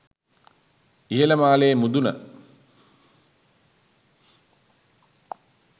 ඉහළ මාලයේ මුදුන